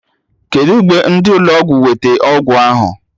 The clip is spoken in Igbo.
Kedụ mgbe ndị ụlọ ọgwụ wete ọgwụ ahụ?